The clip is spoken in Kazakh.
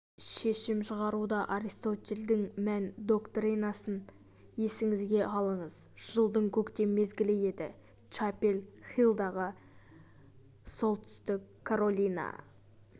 шешім шығаруда аристотельдің мән доктринасын есіңізге алыңыз жылдың көктем мезгілі еді чапел хиллдағы солтүстік каролина